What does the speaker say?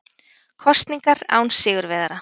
Kosningar án sigurvegara